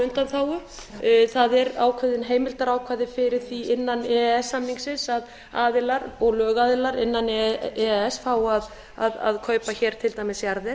undanþágu það eru ákveðin heimildarákvæði fyrir því innan e e s samningsins að aðilar og lögaðilar innan e e s fái að kaupa til dæmis jarðir